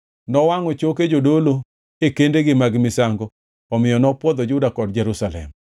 Nowangʼo choke jodolo e kendegi mag misango omiyo nopwodho Juda kod Jerusalem.